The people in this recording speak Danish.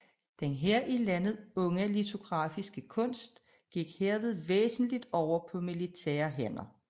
Den her i landet unge litografiske kunst gik herved væsentlig over på militære hænder